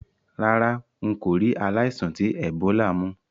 Rárá, n kò ri aláìsàn ti Ebola mú